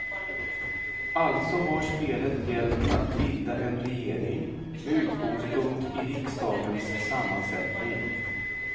Alltså har spelet gällt att bilda en regering med utgångspunkt i riksdagens sammansättning.